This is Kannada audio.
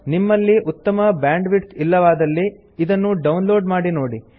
ನಿಮ್ಮಲ್ಲಿ ಉತ್ತಮ ಬ್ಯಾಂಡ್ವಿಡ್ತ್ ಇಲ್ಲವಾದಲ್ಲಿ ಇದನ್ನು ಡೌನ್ ಲೋಡ್ ಮಾಡಿ ನೋಡಿ